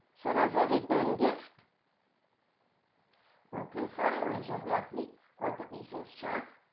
sir as a return gift ok sir হয়ে যাবে আপনি কত pieces চান